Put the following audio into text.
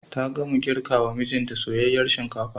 Ta gama girkawa mijinta soyayyar shinkafa.